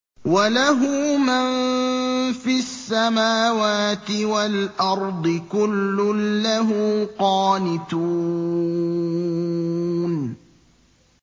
وَلَهُ مَن فِي السَّمَاوَاتِ وَالْأَرْضِ ۖ كُلٌّ لَّهُ قَانِتُونَ